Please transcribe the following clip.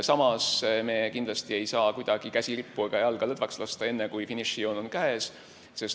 Samas, me kindlasti ei saa kuidagi käsi rippu ega jalga lõdvaks lasta enne, kui finišijoon on käes.